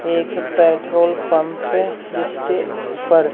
एक petrol pump जिसके ऊपर--